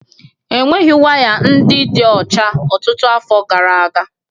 Ejighị wires ndị dị ọcha ọtụtụ afọ gara aga